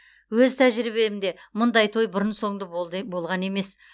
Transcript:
өз тәжірибемде мұндай той бұрын соңды болған емес